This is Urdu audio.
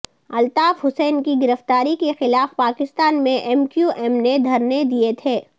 الطاف حسین کی گرفتاری کے خلاف پاکستان میں ایم کیو ایم نے دھرنے دیے تھے